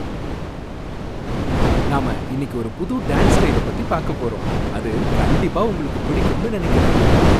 நாம இன்னிக்கு ஒரு புது டான்ஸ் ஸ்டைல பத்தி பாக்கப் போறோம், அது கண்டிப்பா உங்களுக்குப் பிடிக்கும்னு நனைக்கிறேன்.